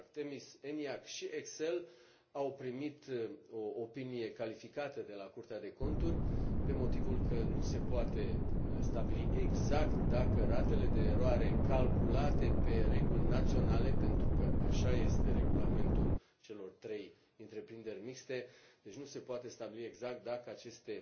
ARTEMIS, ENIAC și ECSEL au primit o opinie calificată de la Curtea de Conturi pe motivul că nu se poate stabili exact dacă ratele de eroare calculate pe reguli naționale, pentru că așa este regulamentul celor trei întreprinderi mixte, deci nu se poate stabili exact dacă aceste